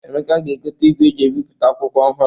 Emeka ga-egote igwe e ji ebipụta akwụkwọ ọhụrụ.